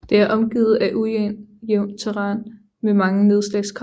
Det er omgivet af ujævnt terræn med mange nedslagskratere